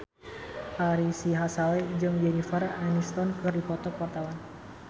Ari Sihasale jeung Jennifer Aniston keur dipoto ku wartawan